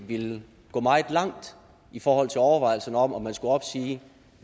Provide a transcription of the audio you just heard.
ville gå meget langt i forhold til overvejelserne om hvorvidt man skulle opsige